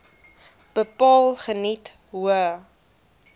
bepaal geniet hoë